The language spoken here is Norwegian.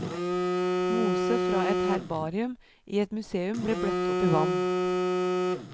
Mose fra et herbarium i et museum ble bløtt opp i vann.